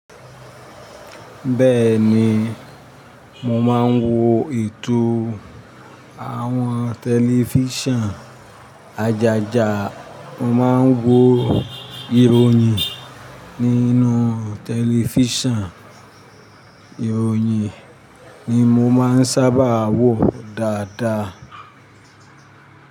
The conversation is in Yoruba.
Bẹ́ẹ̀ ni, mò máa ń wo ètò àwọn tẹlifíṣàn ajaja. Mò máa ń wo ìròyìn nínú tẹlifíṣàn. Ìròyìn ni mo máa ń sábà wò dáadáa.